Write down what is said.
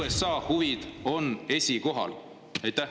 USA huvid on esikohal?